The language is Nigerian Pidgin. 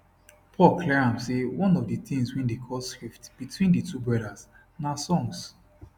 paul clear am say one of di tins wey dey cause rift between di two brothers na songs